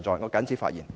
我謹此發言。